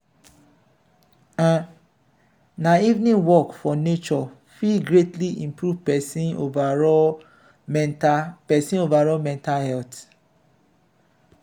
um na evening walk for nature fit greatly improve pesin overall mental pesin overall mental health.